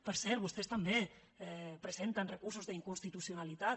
per cert vostès també presenten recursos d’inconstitucionalitat